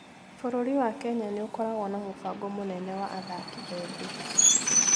Bũrũri wa Kenya nĩ ũkoragwo na mũbango mũnene wa athaki ethĩ.